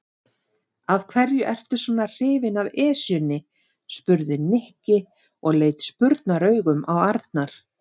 Af hverju ertu svona hrifinn af Esjunni? spurði Nikki og leit spurnaraugum á Arnar.